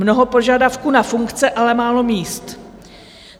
Mnoho požadavků na funkce, ale málo míst.